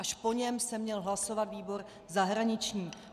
Až po něm se měl hlasovat výbor zahraniční.